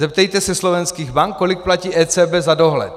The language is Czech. Zeptejte se slovenských bank, kolik platí ECB za dohled.